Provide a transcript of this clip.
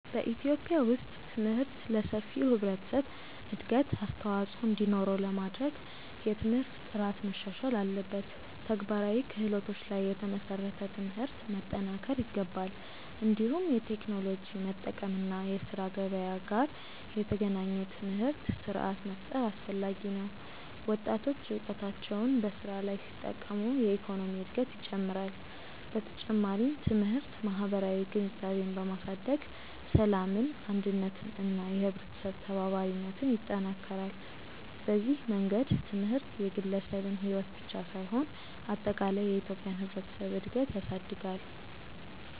በኢትዮጵያ ውስጥ ትምህርት ለሰፊው ህብረተሰብ እድገት አስተዋፅኦ እንዲኖረው ለማድረግ የትምህርት ጥራት መሻሻል አለበት፣ ተግባራዊ ክህሎቶች ላይ የተመሰረተ ትምህርት መጠናከር ይገባል። እንዲሁም የቴክኖሎጂ መጠቀም እና የስራ ገበያ ጋር የተገናኘ ትምህርት ስርዓት መፍጠር አስፈላጊ ነው። ወጣቶች እውቀታቸውን በስራ ላይ ሲጠቀሙ የኢኮኖሚ እድገት ይጨምራል። በተጨማሪም ትምህርት ማህበራዊ ግንዛቤን በማሳደግ ሰላምን፣ አንድነትን እና የህብረተሰብ ተባባሪነትን ይጠናክራል። በዚህ መንገድ ትምህርት የግለሰብን ሕይወት ብቻ ሳይሆን አጠቃላይ የኢትዮጵያን ህብረተሰብ እድገት ያሳድጋል።